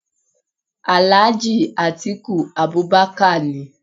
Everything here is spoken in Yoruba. Alhaji Atiku Abubakar ni.